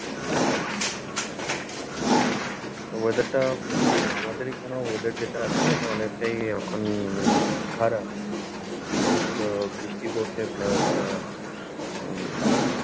আচ্ছা। weather টা উম আমাদের এখানেও weather যেটা আছে না, এটা অনেকটাই এখন খারাপ। অনেক উম বৃষ্টি পড়ছে plus উম